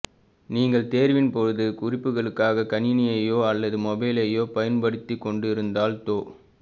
நீங்கள் தேர்வின் பொழுது குறிப்புகளுக்காக கணினியையோ அல்லது மொபைலையோ பயன்படுத்திக்கொண்டிருந்தால் தொ